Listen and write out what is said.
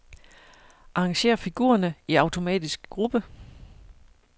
Arrangér figurerne i automatisk gruppe.